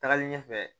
Tagalen ɲɛfɛ